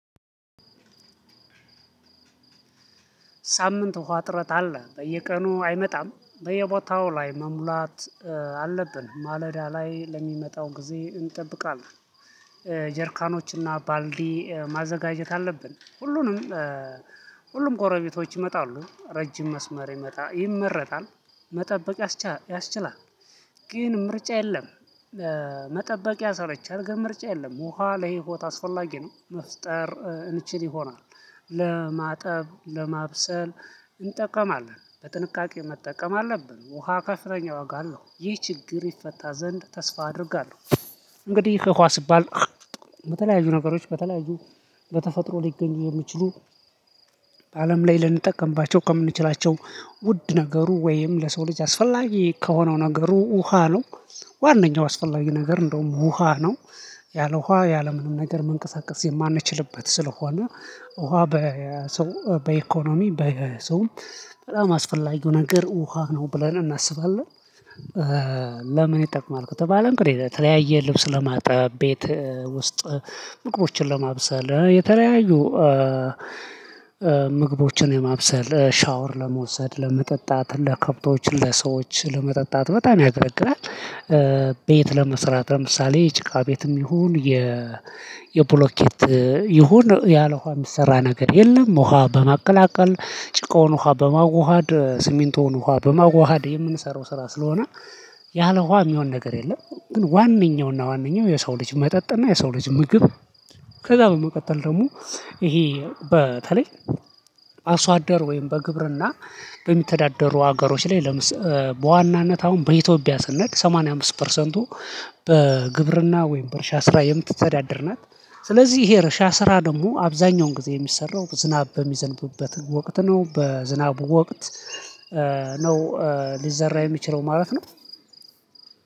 ሳምንት ውሃ እጥረት አለ በየቀኑ አይመጣም በየቦታው ላይ መሙላት አለብን ማለዳ ላይ ለሚመጣው ጊዜ እንጠብቃለን። ጀርካኖች እና ባልዲ ማዘጋጀት አለብን ሁሉንም። ሁሉም ጎረቤቶች ይመጣሉ ረጅም መስመር ይመጣ ይመረጣል መጠበቅ ያስችላል። ግን ምርጫ የለም። መጠበቅ ያሰለቻል ግን ምርጫ የለም ውሃ ለህይወት አስፈላጊ ነው። መፍጠር እንችል ይሆናል። ለማጠብ ለማብሰል እንጠቀማለን በጥንቃቄ መጠቀም አለብን። ውሃ ከፍተኛ ዋጋ አለው ይህ ችግር ይፈታ ዘንድ ተስፋ አድርጋለሁ። እንግዲህ ከውሃ ሲባል በተለያዩ ነገሮች በተለያዩ በተፈጥሮ ሊገኙ የሚችሉ አለም ላይ ልንጠቀምባቸው ከምንችላቸው ውድ ነገሩ ወይም ለሰው ልጅ አስፈላጊ ከሆነው ነገሩ ውሃ ነው። ዋነኛው አስፈላጊ ነገር እንደውም ውሃ ነው። ያለ ውሃ ያለ ምንም ነገር መንምቀሳቀስ የማንችልበት ስለሆነ። ውሃ በሰው በኢኮኖሚ በሰውም በጣም አስፈላጊው ነገር ውሃ ነው ብለን እናስባለን። ለምን ይጠቅማል? ከተባልን እንግዲ ለተለያየ ልብስ ለማጠብ ቤት ውስጥ ምግቦችን ለማብሰል የተለያዩ ምግቦችን የማብሰል ሻወር ለመውሰድ ለመጠጣት ለከብቶች ለሰዎች ለመጠጣት በጣም ያገለግላል። ቤት ለመሰራት ለምሳሌ ጭካ ቤትም ይሁን የ የብሎኬት ይሁን ያለ ውሃ የሚሰራ ነገር የለም። ውሃ በማቀላቀል ጭቃውን ውሃ በማዋሃድ ስሚንቶን ውሃ በማዋሃድ የምንሰራው ስራ ስለሆነ። ያለ ውሃ የሚሆን ነገር የለም። ግን ዋነኛውና ዋነኛው የሰው ልጅ መጠጥና የሰው ልጅ ምግብ። ከዛ በመቀጠል ደግሞ ይሄ በተለይ አርሶ አደር ወይም በግብርና በሚተዳደሩ ሀገሮች ላይ ለምስ በዋናነት አሁን በኢትዮጵያ ስንሄድ ሰማንያ አምስት ፐርሰንቱ በግብርና ወይም በእርሻ ስራ የምትተዳደር ናት። ስለዚህ ይሄ የእርሻ ስራ ደግሞ አብዛኛውን ጊዜ የሚሰራው ዝናብ በሚዘንብበት ወቅት ነው በዝናቡ ወቅት ነው። ሊዘራ የሚችለው ማለት ነው።